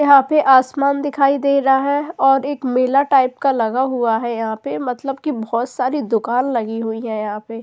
यहाँ पे आसमान दिखाई दे रहा है और एक मेला टाइप का लगा हुआ है यहाँ पे मतलब कि बहुत सारी दुकान लगी हुई है यहाँ पे --